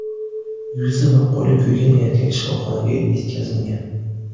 Yuzi va qo‘li kuygan erkak shifoxonaga yetkazilgan.